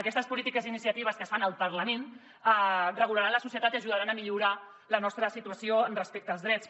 aquestes polítiques i iniciatives que es fan al parlament regularan la societat i ajudaran a millorar la nostra situació respecte als drets